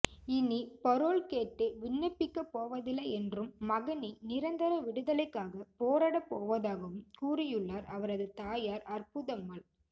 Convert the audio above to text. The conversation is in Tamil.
இனி பரோல் கேட்டு விண்ணப்பிக்கப் போவதில்லை என்றும் மகனின் நிரந்தர விடுதலைக்காக போராடப் போவதாகவும் கூறியுள்ளார் அவரது தாயார் அற்புதம்மாள்